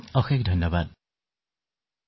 চিকিৎসক ধন্যবাদ মহোদয়